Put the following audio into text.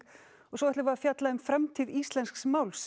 svo ætlum við að fjalla um framtíð íslensks máls